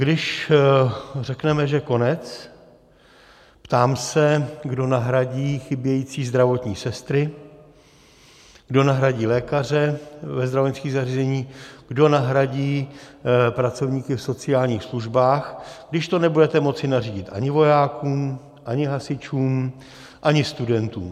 Když řekneme, že konec, ptám se, kdo nahradí chybějící zdravotní sestry, kdo nahradí lékaře ve zdravotnických zařízeních, kdo nahradí pracovníky v sociálních službách, když to nebudete moci nařídit ani vojákům, ani hasičům, ani studentům?